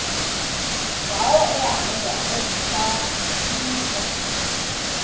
zawo ehamba eyihlalutya